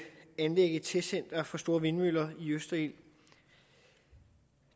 anlægge et testcenter for store vindmøller i østerild